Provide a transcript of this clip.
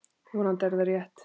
Vonandi er það rétt.